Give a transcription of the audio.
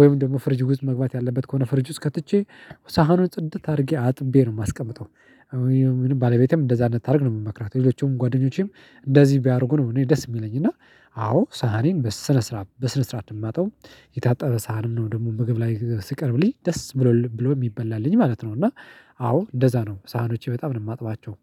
ወይም ደግሞ ፍርጁ ውስጥ መግባት ያለበት ከሆነ ፍርጅ ውስጥ ከትቼ ሳህኑን ጽድት አድርጌ አጥቤ ነው የማስቀምጠው። ባለቤቴም እንደዛ እንድታደርግ ነው የምመክራት ሌሎቹም ጓደኞቼም እንደዚህ ቢያደርጉ ነው እኔ ደስ የሚለኝ። እና አዎ ሳህኔን በስነ ስርዓት በስነ ስርዓት የማጥበው። የታጠበ ሳህን ነው ደግሞ ምግብ ላይ ሲቀርብልኝ ደስ ብሎ ብሎ የሚበላልኝ ማለት ነው። እና አዎ እንደዛ ነው ሳህኖቼ በጣም ነው የማጥባቸው